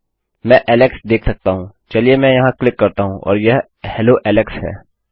मैं Alex Alex देख सकता हूँ चलिए मैं यहाँ क्लिक करता हूँ और यह हेलो एलेक्स है